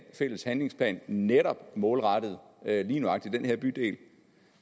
fælles handlingsplan netop målrettet lige nøjagtig den her bydel